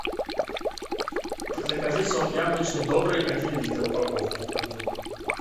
закажи сок яблочный добрый один литр упаковку одну